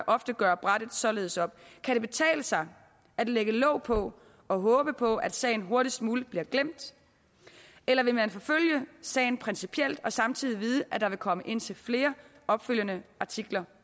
ofte gøre brættet således op kan det betale sig at lægge låg på og håbe på at sagen hurtigst muligt bliver glemt eller vil man forfølge sagen principielt og samtidig vide at der vil komme indtil flere opfølgende artikler